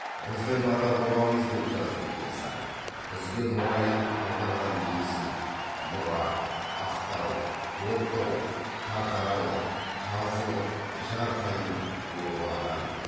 біздің ата бабамыз деп жазды кенесары бізге мұра етіп қалдырған есіл нұра ақтау ортау қарқаралы қазылық жарқайың обаған